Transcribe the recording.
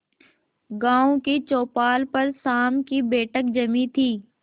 गांव की चौपाल पर शाम की बैठक जमी थी